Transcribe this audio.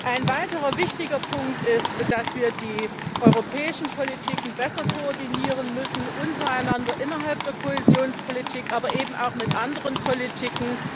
Ein weiterer wichtiger Punkt ist, dass wir die europäischen Politiken untereinander besser koordinieren müssen, innerhalb der Kohäsionspolitik, aber eben auch mit anderen Politiken.